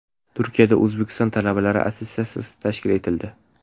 Turkiyada O‘zbekiston talabalari assotsiatsiyasi tashkil etildi.